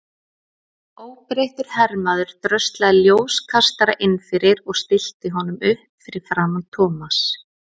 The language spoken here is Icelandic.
Óbreyttur hermaður dröslaði ljóskastara inn fyrir og stillti honum upp fyrir framan Thomas.